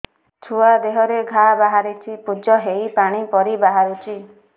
ଛୁଆ ଦେହରେ ଘା ବାହାରିଛି ପୁଜ ହେଇ ପାଣି ପରି ବାହାରୁଚି